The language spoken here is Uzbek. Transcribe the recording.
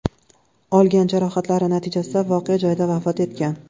olgan jarohatlari natijasida voqea joyida vafot etgan.